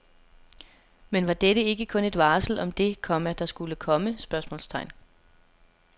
Men var dette ikke kun et varsel om det, komma der skulle komme? spørgsmålstegn